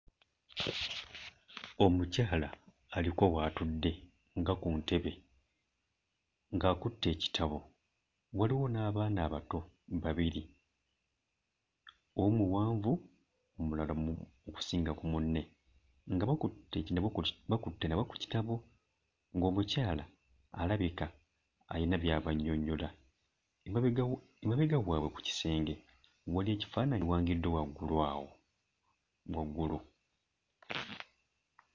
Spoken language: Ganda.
Omukyala aliko w'atudde nga ku ntebe ng'akutte ekitabo, waliwo n'abaana abato babiri; omu muwanvu omulala mu... okusinga ku munne nga bakutte bakutte nabo ku kitabo ng'omukyala alabika ayina by'abannyonnyola. Emabega emabega waabwe ku kisenge waliwo ekifaananyi ekiwangiddwa waggulu awo, waggulu.